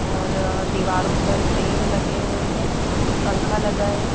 और दीवारों पर फ्रेम लगे हुए हैं पंख लगा है।